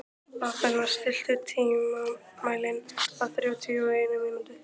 Athena, stilltu tímamælinn á þrjátíu og eina mínútur.